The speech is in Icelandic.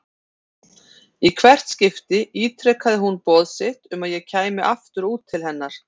Í hvert skipti ítrekaði hún boð sitt um að ég kæmi aftur út til hennar.